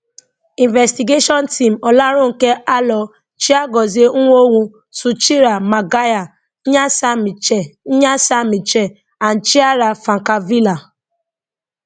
investigation team olaronke alo chiagozie nwonwu sucheera maguire nyasha michelle nyasha michelle and chiara francavilla